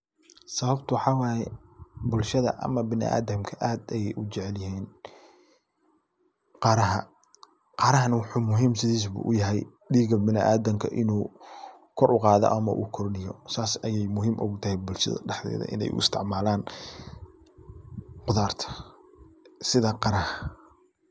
Sababta waxaa waya bulshada ama biniadamka aad ayu u jecelyahay qaraha. qarahana waxuu muhiim sidiisu ba u yahay diiga biniadamka inu kor u qaado ama u kordhiyo sas ayay muhiim ugu tahay bulshada daxdeeda inay u isticmaalan qudarta sida qaraha.